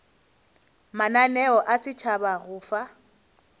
mananeo a setšhaba go fa